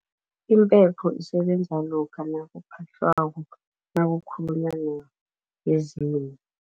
Impepho isebenza lokha nakuphahlwako nakukhulunywa nabezimu.